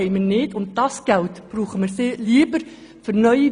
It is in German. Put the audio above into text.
Dieses Geld steht uns nicht zur Verfügung.